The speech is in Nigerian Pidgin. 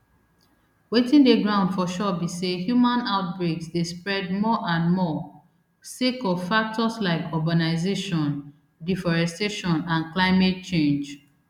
wetin dey ground for sure be say human outbreaks dey spread more and more sake of factors like urbanisation deforestation and climate change